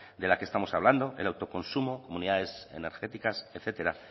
de la que estamos hablando el autoconsumo comunidades energéticas etcétera